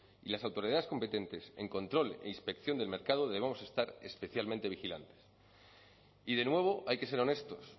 y las autoridades competentes en control e inspección del mercado debemos estar especialmente vigilantes y de nuevo hay que ser honestos